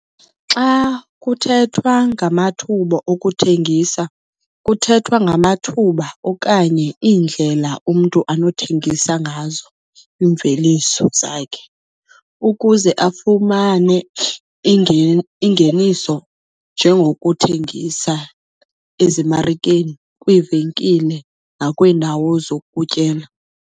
Xa kuthethwa ngamathuba okuthengisa, kuthethwa ngamathuba okanye iindlela umntu anothengisa ngazo iimveliso zakhe ukuze afumane ingeniso njengokuthengisa ezimarikeni, kwiivenkile nakwiindawo zokutyela.